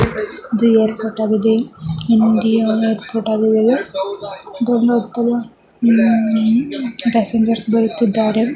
ಇದು ಏರ್ಪೋರ್ಟ್ ಆಗಿದೆ. Indian airport indicator passengers ಬರುತ್ತಿದ್ದಾರೆ.